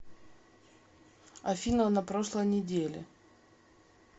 афина на прошлой неделе